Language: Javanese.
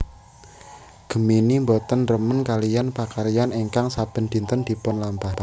Gemini boten remen kaliyan pakaryan ingkang saben dinten dipunlampahi